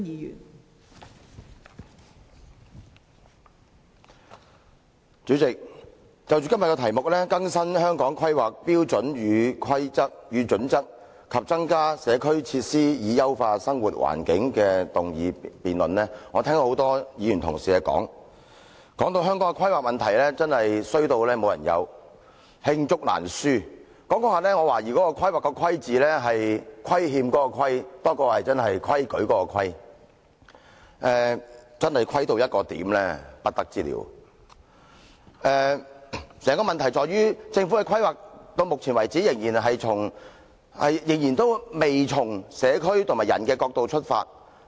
代理主席，就今天有關"更新《香港規劃標準與準則》及增加社區設施以優化生活環境"的議案辯論，我聽到多位議員同事的發言，把香港的規劃問題說得"衰到無人有"、罪狀罄竹難書。這樣說下去，我懷疑規劃的"規"字是虧欠的"虧"，多於規矩的"規"，真是"虧"到不得了。整個問題在於，政府的規劃至目前為止仍未從社區和人的角度出發。